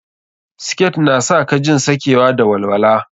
Siket na sa ka jin sakewa da walwala.